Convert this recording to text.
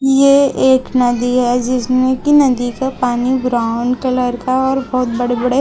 ये एक नदी है जिसमें की नदी का पानी ब्राउन कलर का और बहुत बड़े बड़े--